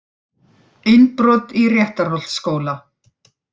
Innbrot í Réttarholtsskóla